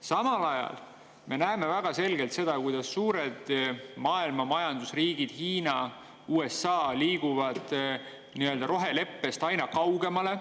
Samal ajal näeme väga selgelt seda, kuidas maailma suurima majandusega riigid, nagu Hiina ja USA, liiguvad roheleppest aina kaugemale.